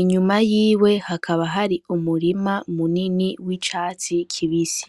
inyuma yiwe hakaba hari umurima munini w'icatsi kibise.